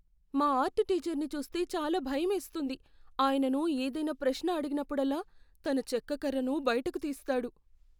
మా ఆర్ట్ టీచర్ని చూస్తే చాలా భయమేస్తుంది. ఆయనను ఏదైనా ప్రశ్న అడిగినప్పుడల్లా, తన చెక్క కర్రను బయటకు తీస్తాడు.